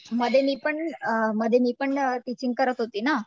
मध्ये मी पण मध्ये मी पण टिचिंग करत होते ना